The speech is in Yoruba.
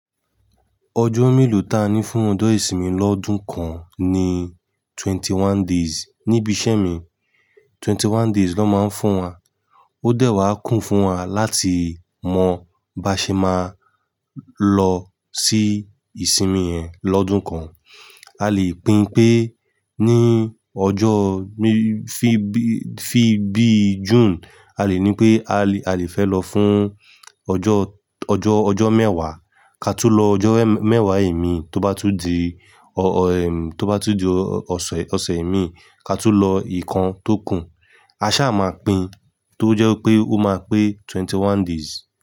Ọjọ́ mélòó ta ní fún ọjọ́ ìsinmi lọ́dún kan ni twenty one days. Nibi iṣẹ́ mi, twenty one days ló máa ń fún wa. Ó dẹ̀ wá kún fún wa láti mọ bá ṣe máa lọ sí ìsinmi ẹ̀ lọ́dún kan. A lè pín pé ní ọjọ́ bí, bí, bí June, a lè ní pé a lè, a lè fẹ́ lọ fún ọjọ́, ọjọ́, ọjọ́ mẹ́wàá. Ka tú lọ ọjọ́ mẹ́wàá ẹ̀mí, tó bá tún di ọ, ọ, ẹ̀mí, tó bá tún di ọ̀sẹ̀, ọ̀sẹ̀ ẹ̀mí ka tú lọ ìkan tó kù. A ṣa máa pín tó jẹ́ pé ó máa pé twenty one days.